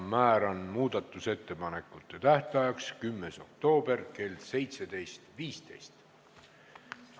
Määran muudatusettepanekute esitamise tähtajaks 10. oktoobri kell 17.15.